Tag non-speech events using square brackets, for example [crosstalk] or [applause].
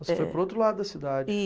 Você foi para o outro lado da cidade. [unintelligible]